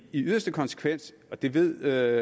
i yderste konsekvens det ved